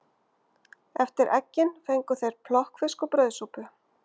Eftir eggin fengu þeir plokkfisk og brauðsúpu.